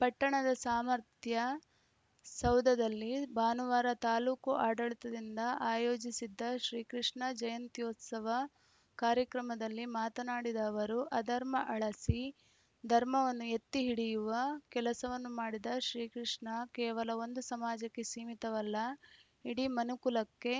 ಪಟ್ಟಣದ ಸಾಮರ್ಥ್ಯ ಸೌಧದಲ್ಲಿ ಭಾನುವಾರ ತಾಲೂಕು ಆಡಳಿತದಿಂದ ಆಯೋಜಿಸಿದ್ದ ಶ್ರೀಕೃಷ್ಣ ಜಯಂತ್ಯೋತ್ಸವ ಕಾರ್ಯಕ್ರಮದಲ್ಲಿ ಮಾತನಾಡಿದ ಅವರು ಅಧರ್ಮ ಅಳಸಿ ಧರ್ಮವನ್ನು ಎತ್ತಿ ಹಿಡಿಯುವ ಕೆಲಸವನ್ನು ಮಾಡಿದ ಶ್ರೀಕೃಷ್ಣ ಕೇವಲ ಒಂದು ಸಮಾಜಕ್ಕೆ ಸೀಮಿತವಲ್ಲ ಇಡೀ ಮನುಕುಲಕ್ಕೆ